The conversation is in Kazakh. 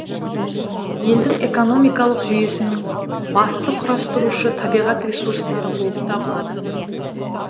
елдің экономикалық жүйесінің басты құрастырушы табиғат ресурстары болып табылады